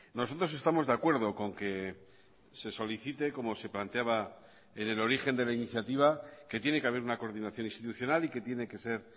nosotros estamos de acuerdo con que se solicite como se planteaba en el origen de la iniciativa que tiene que haber una coordinación institucional y que tiene que ser